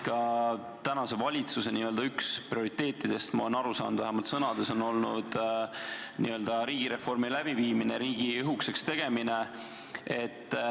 Praeguse valitsuse üks prioriteetidest, nagu ma olen aru saanud, on vähemalt sõnades olnud riigireformi läbiviimine, riigi õhukeseks tegemine.